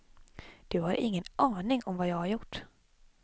Du har ingen aning om vad jag har gjort.